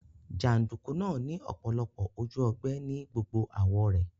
Jàndùkú náà ni ọ̀pọ̀lọpọ̀ ojú ogbẹ́ ni gbogbo àwó rẹ̀